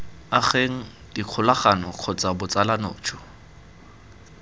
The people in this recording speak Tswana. ageng dikgolagano kgotsa botsalano jo